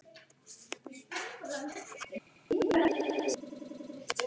Þau verða lamin í púsl!